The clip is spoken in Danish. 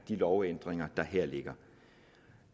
de lovændringer der her ligger